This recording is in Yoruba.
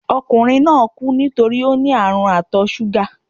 Okùnrin náà kú nítorípé óní ààrùn ìtò súgà